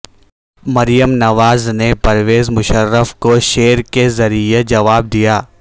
مریم نوازنے پرویز مشرف کو شعر کے ذریعے جواب دیا